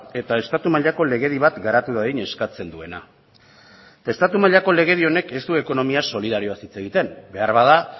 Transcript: eta estatu mailako legedi bat garatu dadin eskatzen duena estatu mailako legedi honek ez du ekonomia solidarioaz hitz egiten beharbada